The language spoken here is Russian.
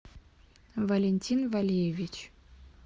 валентин валеевич